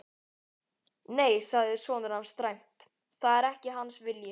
Nei, sagði sonur hans dræmt,-það er ekki hans vilji.